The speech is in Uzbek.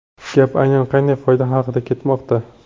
Gap aynan qanday foyda haqida ketmoqda?